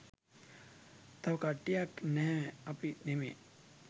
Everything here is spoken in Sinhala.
තව කට්ටියක් නෑ අපි නෙමේ